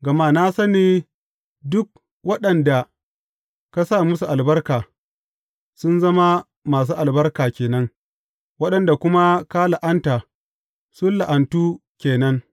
Gama na sani duk waɗanda ka sa musu albarka, sun zama masu albarka ke nan, waɗanda kuma ka la’anta, sun la’antu ke nan.